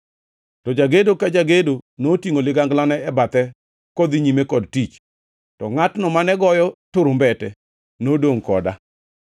to jagedo ka jagedo notingʼo liganglane e bathe kodhi nyime kod tich. To ngʼatno mane goyo turumbete nodongʼ koda.